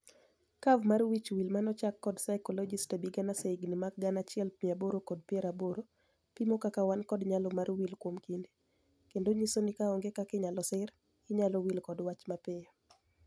Curve mar wich wil mane ochak kod psychologist Ebbinghaus e higni mag gana achiel mia aboro kod piero aboro, pimo kaka wan kod nyalo mar wil kuom kinde, kendo nyiso ni kaonge kod kaka inyalo sir, inyalo wil kod wach mapiyo.